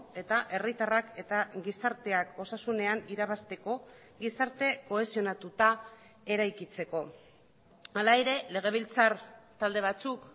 eta herritarrak eta gizarteak osasunean irabazteko gizarte kohesionatuta eraikitzeko hala ere legebiltzar talde batzuk